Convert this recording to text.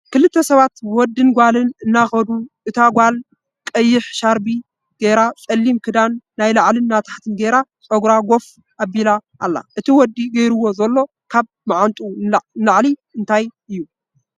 ክልተ ሰባት ወድን ጋልን እናከዱ እታ ጋልቀይሕ ሻርፒ ገይራ ፀሊም ክዳን ናይ ላዕልን ታሕትን ጌራ ፀጉራ ጎፍ ኣቢላ ኣላ እቲ ወዲ ገይርዎ ዘሎ ካብ ማዓንጥኡ ንላዕሊ እንታይ እዩ?